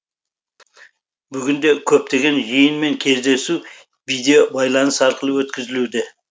бүгінде көптеген жиын мен кездесу видеобайланыс арқылы өткізілуде